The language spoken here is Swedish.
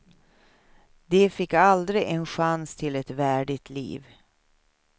De fick aldrig en chans till ett värdigt liv.